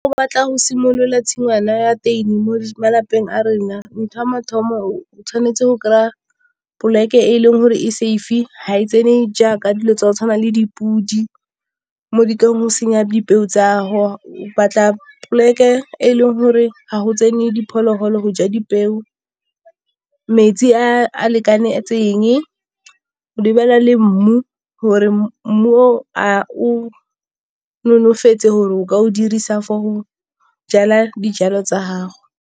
O batla go simolola tshingwana ya teini mo malapeng a rena ntho ya mathomo o tshwanetse go kry-a poleke e e leng gore e safe ga e tsene jaaka dilo tse di tshwanang le dipodi mo ditlileng go senya dipeo tsa . Batla poleke e leng gore ga go tsene diphologolo go ja dipeo, metsi a a lekanetseng, o lebelele le mmu gore mmu o a o nonofetse gore o ka o dirisa for go jala dijalo tsa gago.